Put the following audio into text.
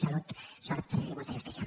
salut sort i molt justícia